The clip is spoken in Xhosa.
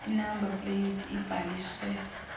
inamba pleyiti ebhaliswe